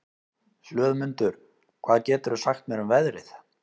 Hlöðmundur, hvað geturðu sagt mér um veðrið?